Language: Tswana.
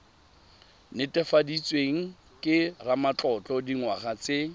netefaditsweng ke ramatlotlo dingwaga tse